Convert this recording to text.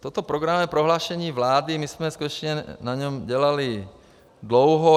Toto programové prohlášení vlády, my jsme skutečně na něm dělali dlouho.